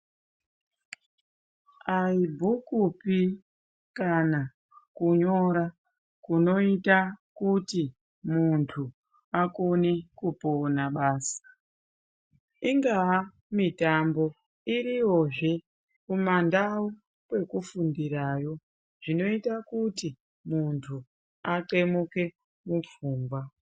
Aibhukupi kana kunyora kunoita kuti muntu akone kupona basi. Ingaa mitambo iriyozve kumandau kwekufundirayo zvinoita kuti muntu athemuke mupfungwa.